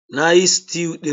Na yi stew ɗin.